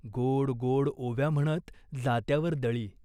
गोड गोड ओव्या म्हणत जात्यावर दळी.